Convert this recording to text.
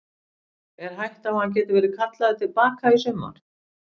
Er hætta á að hann geti verið kallaður til baka í sumar?